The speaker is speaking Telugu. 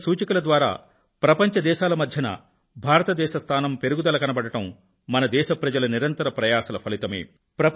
వివిధ సూచికల ద్వారా ప్రపంచం దేశాల మధ్య భారతదేశ స్థానం పెరుగుదల కనబడడం మన దేశ ప్రజల నిరంతర ప్రయాసల ఫలితమే